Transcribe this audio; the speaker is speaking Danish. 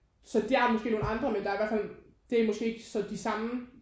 Så de har måske nogen andre men der er i hvert fald det er måske så ikke de samme